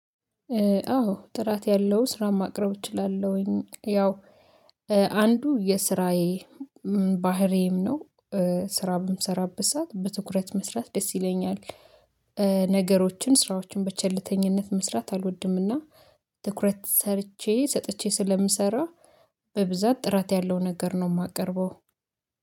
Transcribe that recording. አዎ ጥራት ያለው ስራ ማቅረብ እችላለሁኝ ያው አንዱ የስራዬ ባህሪም ነው ስራ በምሰራበት ሰዓት በትኩረት መስራት ደስ ይለኛል። ነገሮችን ስራዎችን በቸልተኝነት መስራት አልወድምና። ትኩረት ሰርቼ ሰጥቼ ስለምሰራ በብዛት ጥራት ያለው ነገር ነው የማቀርበው